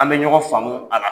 An bɛ ɲɔgɔn faamu a la